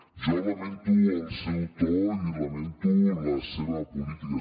jo lamento el seu to i lamento la seva política